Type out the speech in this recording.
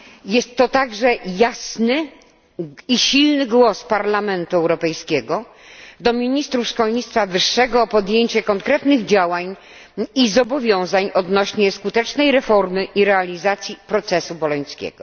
Jest to także jasny i silny apel Parlamentu Europejskiego skierowany do ministrów szkolnictwa wyższego o podjęcie konkretnych działań i zobowiązań odnośnie skutecznej reformy i realizacji procesu bolońskiego.